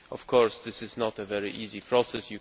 Of course this is not a very easy process